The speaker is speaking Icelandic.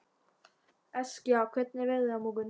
Eskja, hvernig er veðrið á morgun?